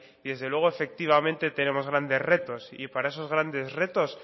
y desde luego efectivamente tenemos grandes retos y para esos grandes retos